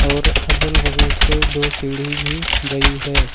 और अगल बगल से दो सीढ़ी भी गई है।